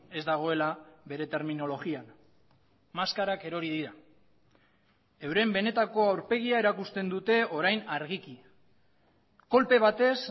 ez dagoela bere terminologian maskarak erori dira euren benetako aurpegia erakusten dute orain argiki kolpe batez